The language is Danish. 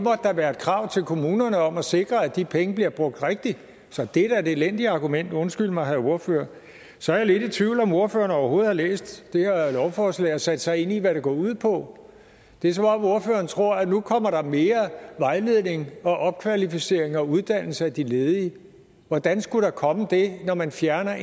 da være et krav til kommunerne om at sikre at de penge bliver brugt rigtigt så det er da et elendigt argument undskyld mig herre ordfører så er jeg lidt i tvivl om om ordføreren overhovedet har læst det her lovforslag og har sat sig ind i hvad det går ud på det er som om ordføreren tror at der nu kommer mere vejledning opkvalificering og uddannelse af de ledige hvordan skulle der komme det når man fjerner